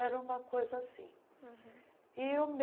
Era uma coisa assim. aham